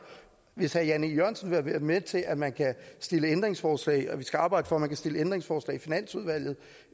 hvis herre jan e jørgensen vil være med til at man kan stille ændringsforslag og at vi skal arbejde for at man kan stille ændringsforslag i finansudvalget